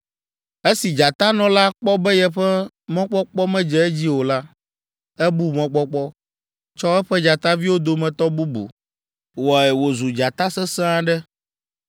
“ ‘Esi dzatanɔ la kpɔ be yeƒe mɔkpɔkpɔ medze edzi o la, ebu mɔkpɔkpɔ, tsɔ eƒe dzataviwo dometɔ bubu, wɔe wòzu dzata sesẽ aɖe.